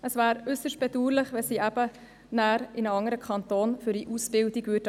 Es wäre äusserst bedauerlich, wenn sie für die Ausbildung in einen anderen Kanton abwandern würden.